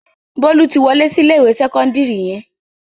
Bólú ti wọlé sí ilé-ìwé sẹ́kọ́ndárì yẹn.